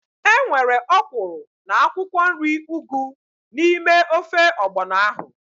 Enwere ọkwụrụ na akwụkwọ nri ugu n'ime ofe ọgbọnọ ahu